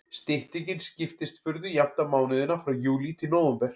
Styttingin skiptist furðu jafnt á mánuðina frá júlí til nóvember.